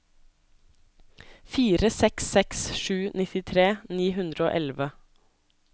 fire seks seks sju nittitre ni hundre og elleve